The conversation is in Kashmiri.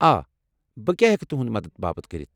آ. بہٕ کیٚا ہیٚکہٕ تٗہندِ مدتہٕ باپت کٔرِتھ؟